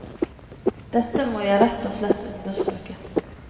Dette må jeg rett og slett undersøke.